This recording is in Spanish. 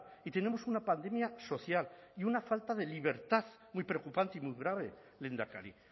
y tenemos una pandemia social y una falta de libertad muy preocupante y muy grave lehendakari